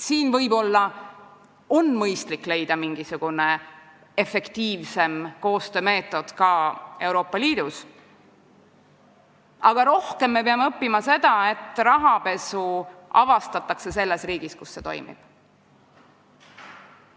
Võib-olla on mõistlik leida mingisugune efektiivsem koostöömeetod ka Euroopa Liidus, aga rohkem me peame õppima seda, et rahapesu avastataks selles riigis, kus see toimub.